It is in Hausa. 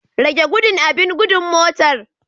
Rage gudu abin gudun motar.